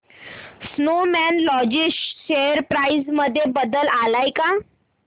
Snowman logistics share price मध्ये बदल आलाय का